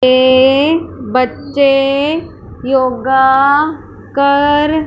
ये बच्चे योगा कर--